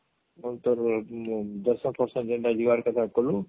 ଆଉ ତୋର ଦର୍ଶନ ଫାର୍ସନ ଯେନ ତୋର କରିବାର କଥା କଲୁ